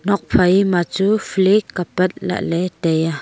nokphai ma chu flek apat lahley taiya.